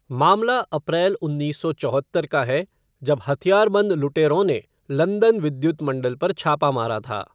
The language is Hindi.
मामला अप्रैल उन्नीस सौ चौहत्तर का है, जब हथियारबंद लुटेरों ने लंदन विद्युत मंडल पर छापा मारा था।